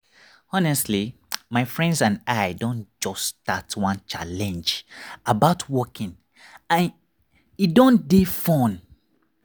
honestly my friends and i don just start one challenge about walking and e don dey fun.